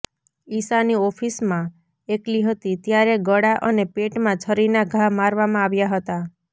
ઈશાની ઓફિસમાં એકલી હતી ત્યારે ગળા અને પેટમાં છરીના ઘા મારવામાં આવ્યા હતા